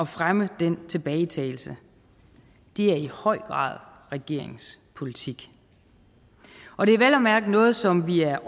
fremme den tilbagetagelse det er i høj grad regeringens politik og det er vel og mærke noget som vi er